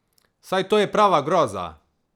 Saj to je prava groza!